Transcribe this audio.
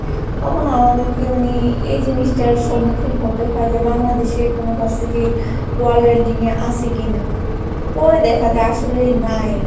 তখন আমাদেরকে মানে এই জিনিসটার সম্মুখীন হতে হয় যে বাংলাদেশের কোন Varsity world ranking এ আছে কিনা? পরে দেখা যায় আসলে নাই।